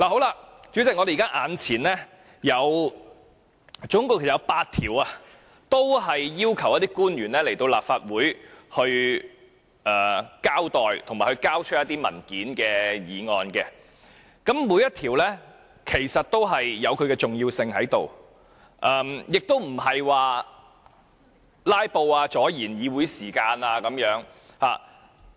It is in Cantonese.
代理主席，目前我們總共有8項要求傳召官員到立法會席前交代及交出一些文件的議案，其實每一項議案也有其重要性，亦不是想"拉布"或阻礙議會時間。